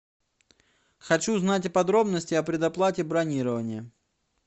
хочу знать подробности о предоплате бронирования